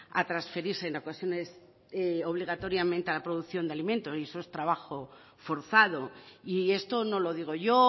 a transferirse en ocasiones obligatoriamente a la producción de alimento y eso es trabajo forzado y esto no lo digo yo